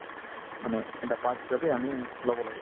মানে এটা part হিচাপে আমি ল'ব লাগে